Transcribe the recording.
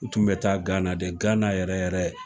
U tun bɛ taa Gana de Gana yɛrɛ yɛrɛ